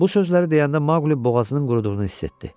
Bu sözləri deyəndə Maqli boğazının quruduğunu hiss etdi.